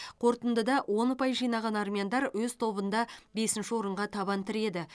қорытындыда он ұпай жинаған армяндар өз тобында бесінші орынға табан тіреді